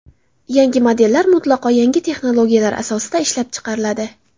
Yangi modellar mutlaqo yangi texnologiyalar asosida ishlab chiqariladi.